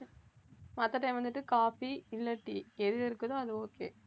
மத்த time வந்துட்டு coffee இல்ல tea எது இருக்குதோ அது okay